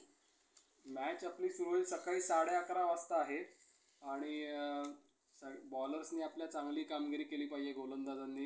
match आपली सुरु होईल सकाळी साडे अकरा वाजता आहे आणि बॉलर्सनि आपल्या चांगली कामगिरी केली पाहिजे गोलंदाजांनी.